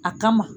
A kama